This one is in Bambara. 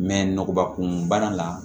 Mɛ nɔgɔba kunbana la